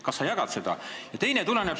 Kas sa jagad seda arvamust?